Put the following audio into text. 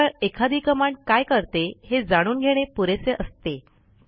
केवळ एखादी कमांड काय करते हे जाणून घेणे पुरेसे असते